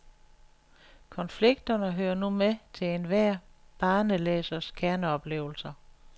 Konflikterne hører nu med til enhver barnelæsers kerneoplevelser.